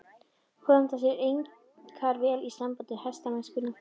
Kom þetta sér einkar vel í sambandi við hestamennskuna.